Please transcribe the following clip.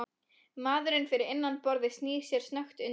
Maðurinn fyrir innan borðið snýr sér snöggt undan.